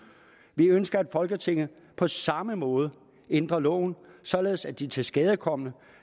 vi ønsker at folketinget på samme måde ændrer loven således at de tilskadekomne